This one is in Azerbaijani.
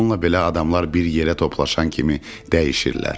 Bununla belə adamlar bir yerə toplaşan kimi dəyişirlər.